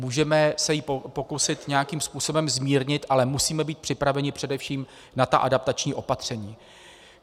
Můžeme se ji pokusit nějakým způsobem zmírnit, ale musíme být připraveni především na ta adaptační opatření.